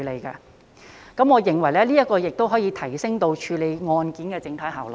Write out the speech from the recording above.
此外，我認為這亦可以提升處理案件的整體效率。